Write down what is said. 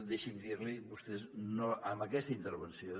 deixi’m dir l’hi vostès amb aquesta intervenció